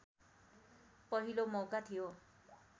पहिलो मौका थियो